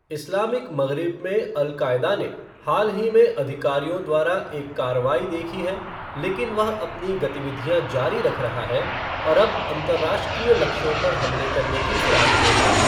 Islamic Maghreb में Al Qaeda ने हाल ही में अधिकारियों द्वारा एक कार्रवाई देखी है लेकिन वह अपनी गतिविधियाँ जारी रख रहा है और अब अंतर्राष्ट्रीय लक्ष्यों पर हमले करने की फिराक में है।